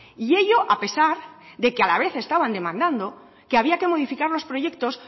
y ello a pesar de que a la vez estaban demandando que había que modificar los proyectos